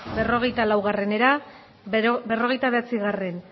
berrogeita laura berrogeita bederatzi